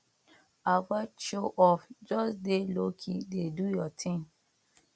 avoid show off just dey lowkey dey do your thing